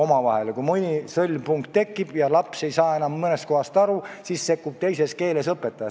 Kui tekib mõni sõlmpunkt ja laps ei saa mõnest kohast aru, siis sekkub teises keeles õpetaja.